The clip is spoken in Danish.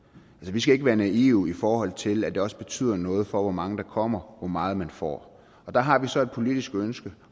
vi skal ikke være naive i forhold til at det også betyder noget for hvor mange der kommer hvor meget man får der har vi så et politisk ønske